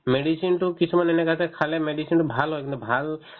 medicine তো কিছুমান এনেকা আছে খালে medicine ভাল হয় কিন্তু ভাল